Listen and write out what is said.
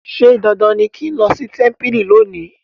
ṣe dandan ní kín ló sí tẹmpili lónì.